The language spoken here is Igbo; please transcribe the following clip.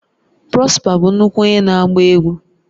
Prosper bụ nnukwu onye na agba egwu